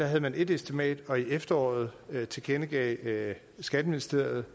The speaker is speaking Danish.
havde man ét estimat og i efteråret tilkendegav skatteministeriet